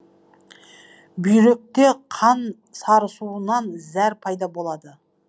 бүйректе қан сарысуынан зәр пайда болады